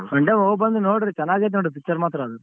Sunday ಹೋಗ್ಬಂದು ನೋಡ್ರಿ ಚೆನ್ನಾಗೈತೆ ನೋಡಿ picture ಮಾತ್ರ ಅದ್.